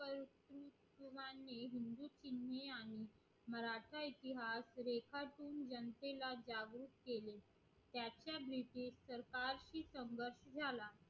मला आत्ता इथली भारत रेखातून जनतेला जागृत केली